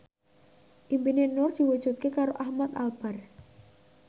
impine Nur diwujudke karo Ahmad Albar